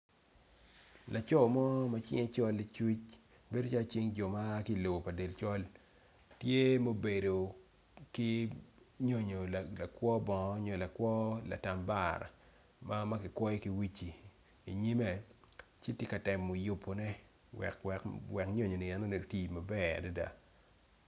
Laco mo macinge col licuc bedo calo cing joma lobo pa del col tye ma obedo nyonyo lakwo bongo nyo lakwo latambara makikwoyo ki wuci i nyime ci tye ka yubo ne wek nyonyo enoni oti maber.